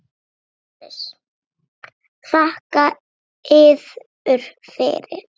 LÁRUS: Þakka yður fyrir!